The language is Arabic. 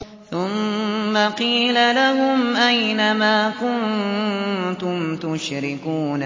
ثُمَّ قِيلَ لَهُمْ أَيْنَ مَا كُنتُمْ تُشْرِكُونَ